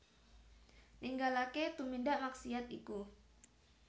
Ninggalaké tumindak maksiat iku